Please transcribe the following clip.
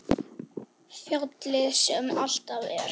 Fjallið sem alltaf er.